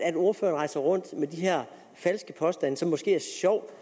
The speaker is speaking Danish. at ordføreren rejser rundt med de her falske påstande som det måske er sjovt